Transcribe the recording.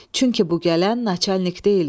Çünki bu gələn naçalnik deyilmiş.